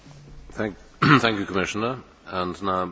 Cieszą mnie te inicjatywy podejmowane przez Komisję.